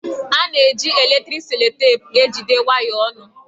A na-eji eletriki selotepụ ejigide waya ọnụ